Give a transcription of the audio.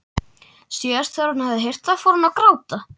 Síðast þegar hún hafði heyrt það fór hún að gráta.